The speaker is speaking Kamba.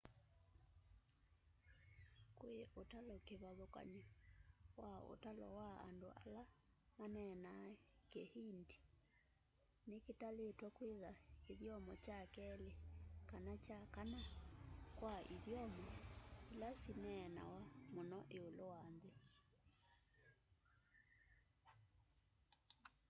kwi utalo kivathũkany'o wa ũtalo wa andũ ala maneneenaa kihindi ni kitalitwe kwitha kithyomo kya keli kana kya kana kwa ithyomo ila syineenawa mũno iũlu wa nthi